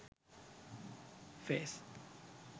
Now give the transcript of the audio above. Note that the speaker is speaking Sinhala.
face